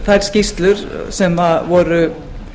þær skýrslur sem voru